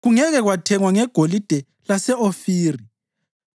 Kungeke kwathengwa ngegolide lase-Ofiri,